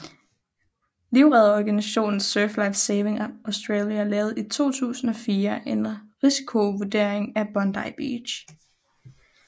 Livredderorganisationen Surf Life Saving Australia lavede i 2004 en risikovurdering af Bondi Beach